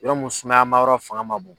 Yɔrɔ mun sumayama yɔrɔ fanga man bon.